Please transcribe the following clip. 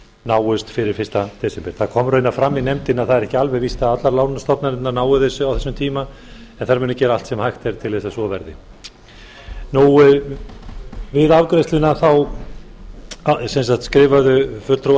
náist fyrir fyrsta desember það kom raunar fram í nefndinni að það er ekki alveg víst að allar lánastofnanirnar nái þessu á þessum tíma en þær munu gera allt sem hægt er til þess að svo verði við afgreiðsluna skrifuðu fulltrúar